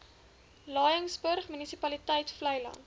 laingsburg munisipaliteit vleiland